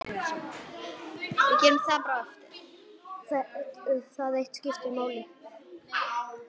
Það eitt skipti máli.